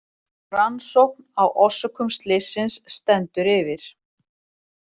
Rannsókn á orsökum slysins stendur yfir